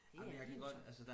det er de jo så